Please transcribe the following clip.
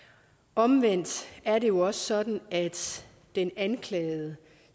omvendt er det jo også sådan at den anklagede